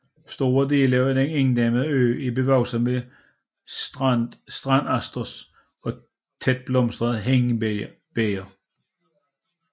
Store dele af den ikke inddæmmede ø er bevokset med strandasters og tætblomstret hindebæger